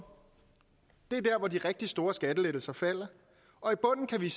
det er der hvor de rigtig store skattelettelser falder og i bunden kan vi